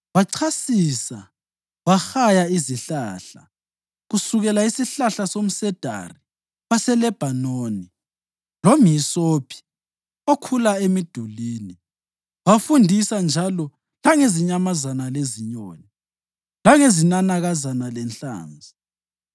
Wachasisa wahaya izihlahla, kusukela isihlahla somsedari waseLebhanoni lomhisophi okhula emidulini. Wafundisa njalo langezinyamazana lezinyoni, langezinanakazana lenhlanzi.